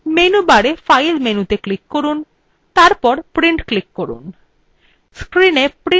menu bar file মেনুতে click করুন এবং তারপর print click করুন